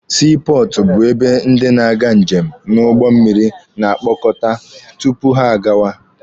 Sii pọọtụ bụ ebe ndị na-aga njem n'ụgbọ mmịrị na-akpọkọta tupu ha agawa.